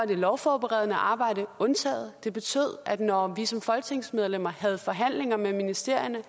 det lovforberedende arbejde også undtaget det betød at når vi som folketingsmedlemmer havde forhandlinger med ministerierne